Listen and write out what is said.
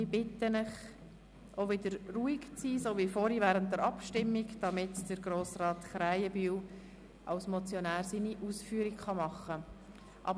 Ich bitte Sie, wie bei der Abstimmung vorhin wieder ruhig zu sein, damit Grossrat Krähenbühl als Motionär seine Ausführungen machen kann.